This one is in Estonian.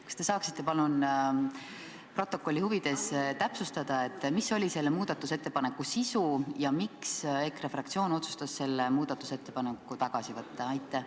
Kas te saaksite palun protokolli huvides täpsustada, mis oli selle muudatusettepaneku sisu ja miks EKRE fraktsioon otsustas selle muudatusettepaneku tagasi võtta?